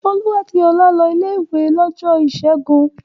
Olú àti Ọlá lọ ilé-ìwé lọ́jọ́ ìṣẹ́gun.